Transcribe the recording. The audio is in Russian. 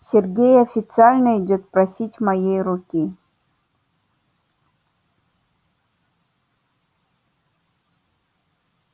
сергей официально идёт просить моей руки